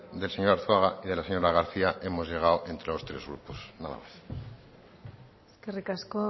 del señor arzuaga y de la señora garcía hemos llegado entre los tres grupos nada más eskerrik asko